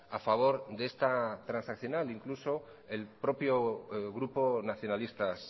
a favor de esta transaccional incluso el propio grupo nacionalistas